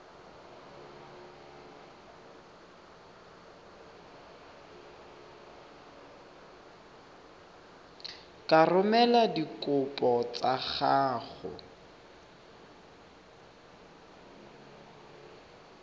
ka romela dikopo tsa gago